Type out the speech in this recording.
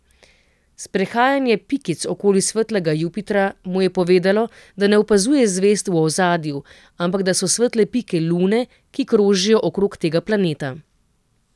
Sprehajanje pikic okoli svetlega Jupitra mu je povedalo, da ne opazuje zvezd v ozadju, ampak da so svetle pike lune, ki krožijo okrog tega planeta.